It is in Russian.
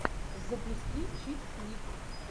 запусти чикфлик